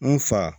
N fa